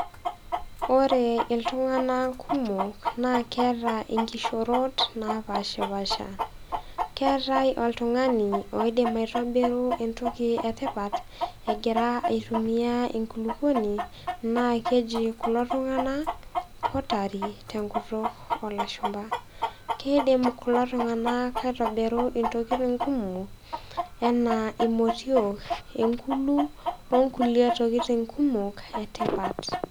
Ore iltung'ana kumok naa keata inkishorot napaashipaasha keatai oltung'ani oidim aitobiru entoki etipat, egira aitumia enkulukuoni naa keji kulo tung'ana pottery tenkutuk oolashumba. Keidim kulo tung'ana aitobirru intokitin kumok anaa imotio, enkulu wonkulie tokitin kumok etipat.